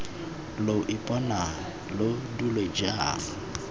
lo ipona lo dule jaana